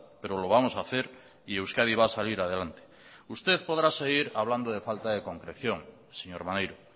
pero lo vamos a hacer y euskadi va a salir adelante usted podrá seguir hablando de falta de concreción señor maneiro